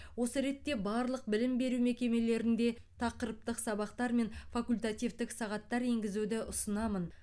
осы ретте барлық білім беру мекемелерінде тақырыптық сабақтар мен факультативтік сағаттар енгізуді ұсынамын